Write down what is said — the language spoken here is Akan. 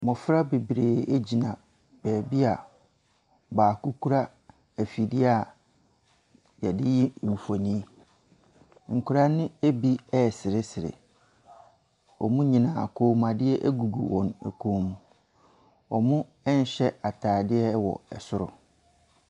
Mmɔfra bebree egyina baabi a baako kura ɛfidie a yɛde yi nfoni. Nkwadaa no bi resresre. Wɔn nyinaa kɔnmadeɛ gugu wɔn kɔn mu. Ɔnhyɛ ataadeɛ wɔ soro.